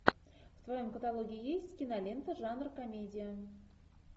в твоем каталоге есть кинолента жанр комедия